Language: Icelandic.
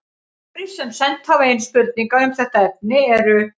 Aðrir sem sent hafa inn spurningar um þetta efni eru: